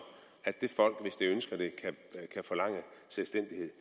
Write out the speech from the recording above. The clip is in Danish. at det folk hvis det ønsker det kan forlange selvstændighed